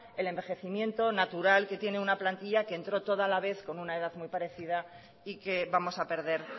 el envejecimiento natural que tiene una plantilla que entró toda a la vez con una edad muy parecida y que vamos a perder